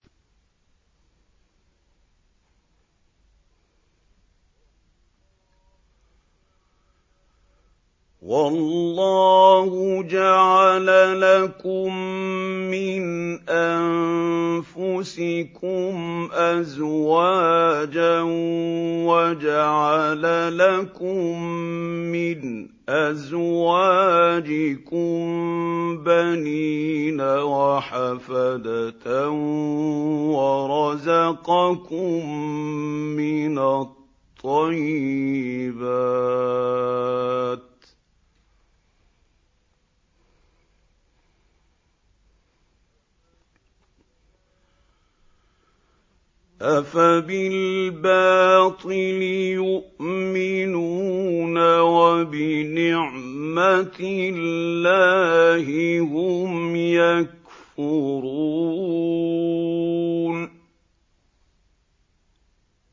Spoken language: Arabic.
وَاللَّهُ جَعَلَ لَكُم مِّنْ أَنفُسِكُمْ أَزْوَاجًا وَجَعَلَ لَكُم مِّنْ أَزْوَاجِكُم بَنِينَ وَحَفَدَةً وَرَزَقَكُم مِّنَ الطَّيِّبَاتِ ۚ أَفَبِالْبَاطِلِ يُؤْمِنُونَ وَبِنِعْمَتِ اللَّهِ هُمْ يَكْفُرُونَ